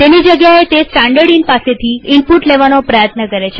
તેની જગ્યાએતે સ્ટાનડર્ડઈન પાસેથી ઈનપુટ લેવાનો પ્રયત્ન કરે છે